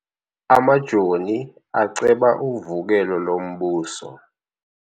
Amajoni aceba uvukelo lombuso.